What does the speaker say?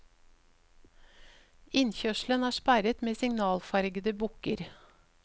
Innkjørselen er sperret med signalfargede bukker.